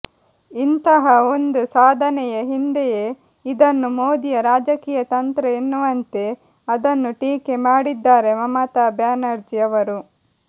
ಇಂತಹ ಒಂದು ಸಾಧನೆಯ ಹಿಂದೆಯೇ ಇದನ್ನು ಮೋದಿಯ ರಾಜಕೀಯ ತಂತ್ರ ಎನ್ನುವಂತೆ ಅದನ್ನು ಟೀಕೆ ಮಾಡಿದ್ದಾರೆ ಮಮತಾ ಬ್ಯಾನರ್ಜಿ ಅವರು